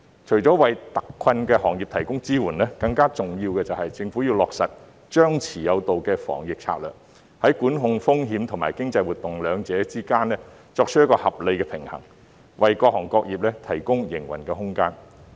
除了為特困行業提供支援外，更重要的是，政府要落實張弛有道的防疫策略，在管控風險和經濟活動兩者之間，作出一個合理的平衡，為各行各業提供營運空間。